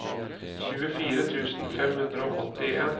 tjuefire tusen fem hundre og åttien